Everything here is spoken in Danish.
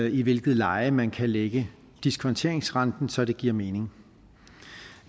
i hvilket leje man kan lægge diskonteringsrenten så det giver mening